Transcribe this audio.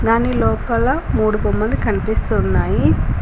దాని లోపల మూడు బొమ్మలు కనిపిస్తున్నాయి.